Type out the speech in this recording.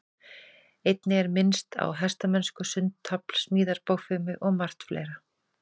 Einnig er minnst á hestamennsku, sund, tafl, smíðar, bogfimi og margt fleira.